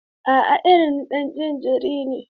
A'a, ina ɗan jin jiri ne.